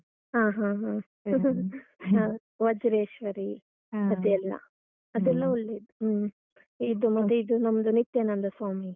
ಹ ಹ ಹ. . ವಜ್ರೇಶ್ವರಿ ಅದೆಲ್ಲ. ಅದೆಲ್ಲ ಒಳ್ಳೇ ಹ್ಮ್ , ಇದು ಮತ್ತೆ ಇದು ನಮ್ದು ನಿತ್ಯಾನಂದ ಸ್ವಾಮಿ.